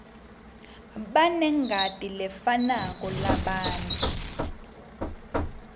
banengati lefanako labantfu